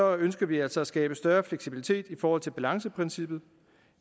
ønsker vi altså at skabe større fleksibilitet i forhold til balanceprincippet